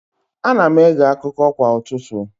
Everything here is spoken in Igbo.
Ana m ege akụkọ kwa ụtụtụ.